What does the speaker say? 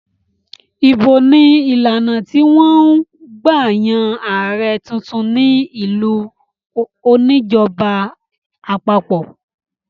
Ìbò ni ìlànà tí wọ́n ń gbà yan ààrẹ̀ tuntun ní ìlú oníjọba àpapọ̀.